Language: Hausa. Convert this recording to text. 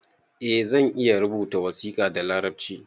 Eh zan iya rubuta wasiƙa da larabci